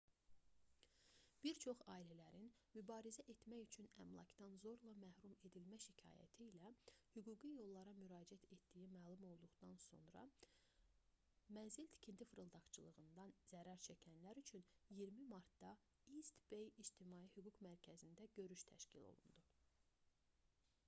bir çox ailələrin mübarizə etmək üçün əmlakdan zorla məhrum edilmə şikayəti ilə hüquqi yollara müraciət etdiyi məlum olduqdan sonra mənzil-tikinti fırıldaqçılığından zərər çəkənlər üçün 20 martda east-bay i̇ctimai hüquq mərkəzində görüş təşkil olundu